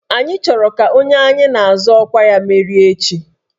Anyị chọrọ ka onye anyị na-azọ ọkwa merie echi